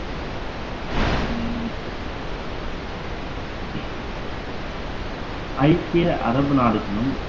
ஐக்கிய அரபு நாடுகளும்